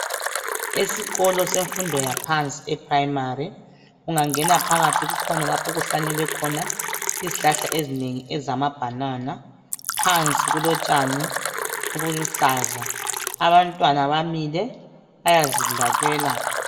Esikolo semfundo yaphansi ePrimary, ungangena phakathi kukhona lapho okuhlanyelwe khona izihlahla ezinengi ezamabanana. Phansi kulotshani obuluhlaza abantwana bamile bayazidlalela.